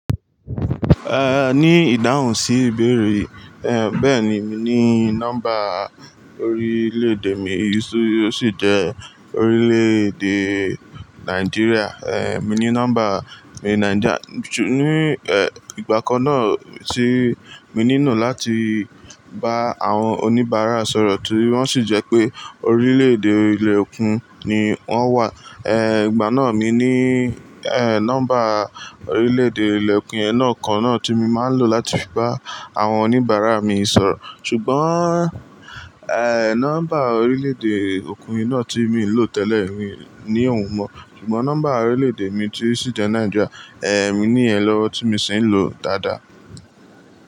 Ní ìdáhùn sí ìbéèrè yì, bẹ́ẹ̀ni, mi ní nọ́mbà orílè-èdè mi tí ó sì jẹ́ orílè-èdè Nàìjíríà. Mi ní nọ́mbà mi Naija-- ní, ìgbà kan náà tí mo nínù láti bá àwọn oníbàárà sọ̀rọ̀ torí wọ́n sì jẹ́ pé orílè-èdè ilẹ̀ òkun ni wọ́n wà. Ìgbà náà mi ní, nọ́mbà orílè-èdè ilẹ̀ òkun yen náà kan náà tí mo máa ń lò láti fi bá àwọn oníbàárà mi sọ̀rọ̀. Ṣùgbọ́n, nọ́mbà orílè-èdè òkun náà tí mo lò tẹ́lẹ̀ mi ò ní ohun mọ́. Ṣùgbọ́n nọ́mbà orílè-èdè mi tí ó sì jẹ́ Naija, mi ní yen lọ́wọ́ tí mo sì ń lò dáadáa.